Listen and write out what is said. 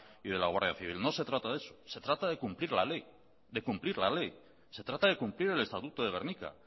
y de la guardia civil no se trata de eso se trata de cumplir la ley se trata de cumplir el estatuto de gernika